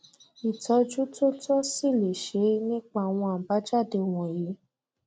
ìtọjú tó tọ sì leé ṣeé nípa àwọn àbájáde wọnyí